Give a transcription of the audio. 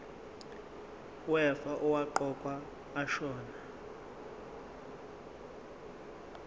wefa owaqokwa ashona